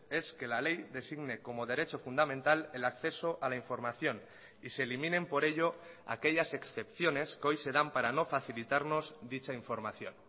es que la ley designe como derecho fundamental el acceso a la información y se eliminen por ello aquellas excepciones que hoy se dan para no facilitarnos dicha información